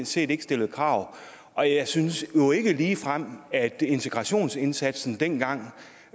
set ikke stillede krav og jeg synes jo ikke ligefrem at integrationsindsatsen dengang